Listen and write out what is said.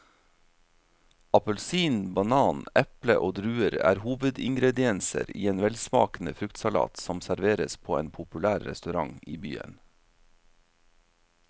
Appelsin, banan, eple og druer er hovedingredienser i en velsmakende fruktsalat som serveres på en populær restaurant i byen.